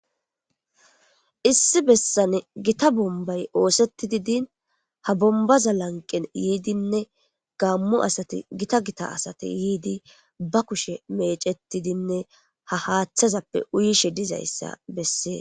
issi bessane gita bombay oosetidi din ha bombaza lanqen yiidinne gammu asati gita gita asati yiidi ba kushe mecetidinne ha haaththazappe uyishe dizayssa bessee